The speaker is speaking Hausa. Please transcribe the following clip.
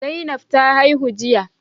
Zainab ta haihu jiya.